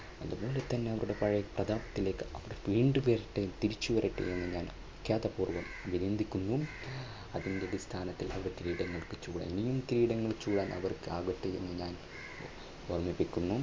അതുപോലെതന്നെ അവരുടെ പഴയ പ്രതാപത്തിലേക്ക് അവർ വീണ്ടും ഉയരട്ടെ എന്ന് തിരിച്ചു വരട്ടെ എന്ന് ഞാൻ വിഖ്യാതപൂർവ്വം അഭിനന്ദിക്കുന്നു. അതിൻറെ അടിസ്ഥാനത്തിൽ അവർ കിരീടങ്ങൾ ഇനിയും കിരീടങ്ങൾ ചൂടാൻ അവർക്ക് ആവട്ടെ എന്ന് ഞാൻ ഓർമ്മിപ്പിക്കുന്നു.